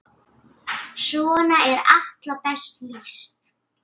Svona er Atla best lýst.